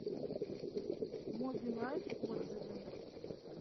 мобилайф отзывы